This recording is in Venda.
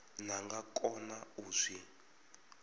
vha nga kona u zwi